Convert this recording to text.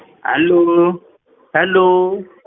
Hello hello